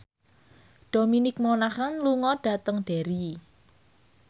Dominic Monaghan lunga dhateng Derry